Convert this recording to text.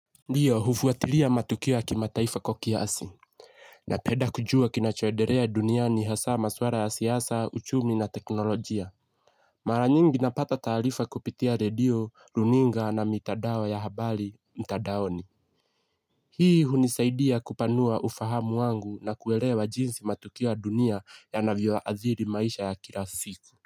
Ndiyo hufuatilia matokeo ya kimataifa kwa kiasi. Napenda kujua kinacho endelea duniani hasa maswala ya siasa, uchumi na teknolojia. Mara nyingi napata taarifa kupitia redio, runinga na mitandao ya habari, mtandaoni. Hii hunisaidia kupanua ufahamu wangu na kuelewa jinsi matukio ya dunia yanavyo adhiri maisha ya kila siku.